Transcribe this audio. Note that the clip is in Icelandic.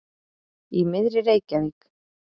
Í miðri Reykjavík.